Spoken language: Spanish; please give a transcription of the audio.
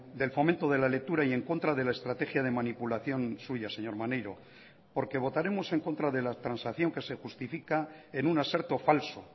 del fomento de la lectura y en contra de la estrategia de manipulación suya señor maneiro porque votaremos en contra de la transacción que se justifica en una aserto falso